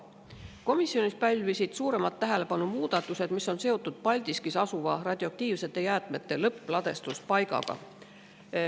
Komisjonis pälvisid suuremat tähelepanu muudatused, mis on seotud Paldiskis asuva radioaktiivsete jäätmete lõppladustuspaigaga.